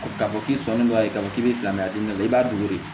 K'a fɔ k'i sɔnni b'a ye k'a fɔ k'i bɛ siran a ɲɛ i b'a dogo de